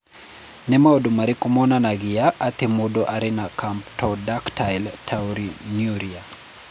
Nĩ maũndũ marĩkũ monanagia atĩ mũndũ arĩ na Camptodactyly taurinuria?